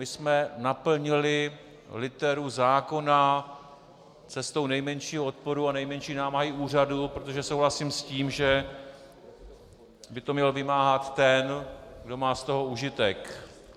My jsme naplnili literu zákona cestou nejmenšího odporu a nejmenší námahy úřadu, protože souhlasím s tím, že by to měl vymáhat ten, kdo má z toho užitek.